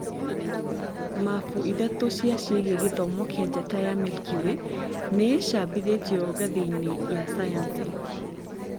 Mabu ithatũ cia cĩĩgie gĩthomo kĩa njata ya Milky way nĩicabithĩtio ngathĩ-inĩ ya sayansi